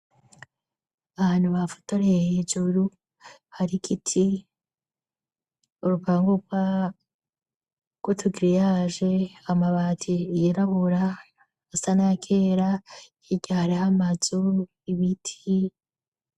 Abantu bafatoreye hejuru, hari igiti, urupangu rw'utu giriyaje, amabati yirabura, asa n'ayakera, hirya hariho amazu, ibiti.